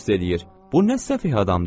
Bu nə səfeh adamdır!